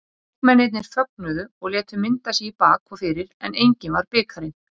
Leikmennirnir fögnuðu og létu mynda sig í bak og fyrir en enginn var bikarinn.